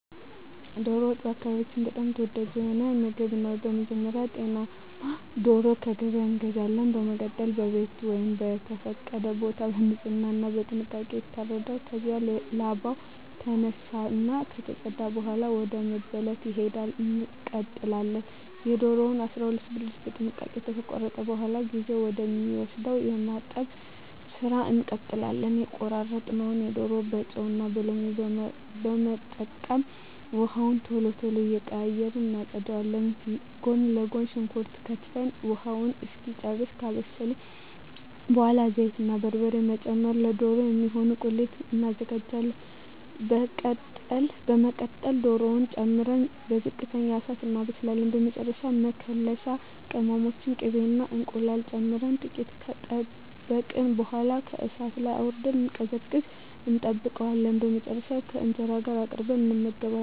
ዶሮ ወጥ በአካባቢየ በጣም ተወዳጅ የሆነ ምግብ ነው። በመጀመሪያ ጤናማ ዶሮ ከገበያ እንገዛለን። በመቀጠል በቤት ወይም በተፈቀደ ቦታ በንጽህና እና በጥንቃቄ ይታረዳል። ከዚያም ላባው ከተነሳ እና ከተፀዳ በኃላ ወደ መበለት ሂደት እንቀጥላለን። የዶሮውን 12 ብልት በጥንቃቄ ከተቆራረጠ በኃላ ጊዜ ወደ ሚወስደው የማጠብ ስራ እንቀጥላለን። የተቆራረጠውን ዶሮ በጨው እና ሎሚ በመጠቀም ውሃውን ቶሎ ቶሎ እየቀያየርን እናፀዳዋለን። ጎን ለጎን ሽንኩርት ከትፈን ውሃውን እስኪጨርስ ካማሰልን በኃላ ዘይት እና በርበሬ በመጨመር ለዶሮ የሚሆን ቁሌት እናዘጋጃለን። በመቀጠል ዶሮውን ጨምረን በዝቅተኛ እሳት እናበስላለን። በመጨረሻ መከለሻ ቅመሞችን፣ ቅቤ እና እንቁላል ጨምረን ጥቂት ከጠበቅን በኃላ ከእሳት ላይ አውርደን እንዲቀዘቅዝ እንጠብቀዋለን። በመጨረሻም ከእንጀራ ጋር አቅርበን እንመገባለን።